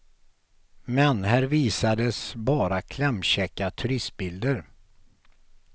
Men här visades bara klämkäcka turistbilder.